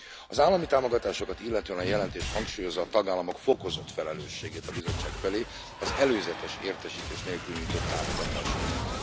Az állami támogatásokat illetően a jelentés hangsúlyozza a tagállamok fokozott felelősségét a Bizottság felé az előzetes értesítés nélkül nyújtott támogatásokért.